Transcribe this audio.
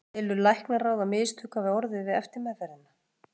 Telur læknaráð, að mistök hafi orðið við eftirmeðferðina?